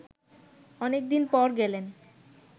অনেক দিন পর গেলেন